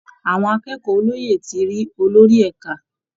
Àwọn akẹ́kọ̀ọ́ olóyè ti rí olórí ẹ̀ka